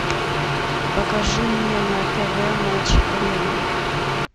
покажи мне на тв матч арена